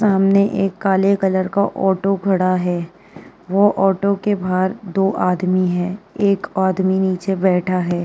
सामने एक काले कलर का ऑटो खड़ा है। वो ऑटो के बाहर दो आदमी है। एक आदमी नीचे बैठा है।